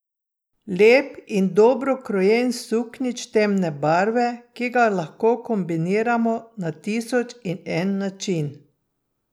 Lep in dobro krojen suknjič temne barve, ki ga lahko kombiniramo na tisoč in en način.